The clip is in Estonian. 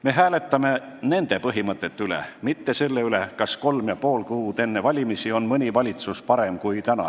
Me hääletame nende põhimõtete üle, mitte selle üle, kas kolm ja pool kuud enne valimisi on mõni valitsus parem kui praegune.